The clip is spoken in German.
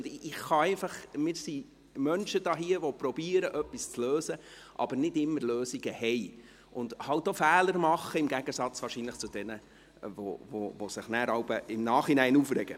Wir sind hier Menschen, die etwas zu lösen versuchen, aber nicht immer Lösungen haben und halt auch Fehler machen, wahrscheinlich im Gegensatz zu jenen, die sich jeweils im Nachhinein aufregen.